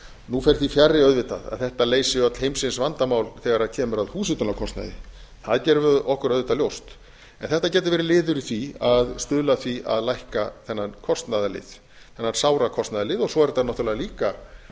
nú fer því fjarri auðvitað að þetta leysi öll heimsins vandamál þegar kemur að húshitunarkostnaði það gerum við okkur auðvitað ljóst en þetta getur verið liður í því að lækka þennan kostnaðarlið þennan sára kostnaðarlið svo er þetta náttúrlega líka